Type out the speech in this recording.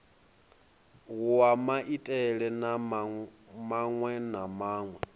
wa maitele maṅwe na maṅwe